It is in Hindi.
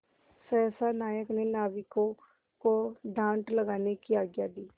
सहसा नायक ने नाविकों को डाँड लगाने की आज्ञा दी